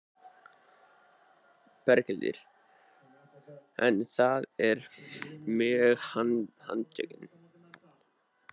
Berghildur: En það eru mörg handtökin?